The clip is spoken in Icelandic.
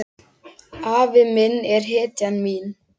Afi minn er hetjan mín.